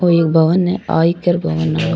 ओ एक भवन है आयकर भवन है ओ।